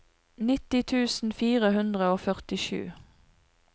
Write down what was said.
nitti tusen fire hundre og førtisju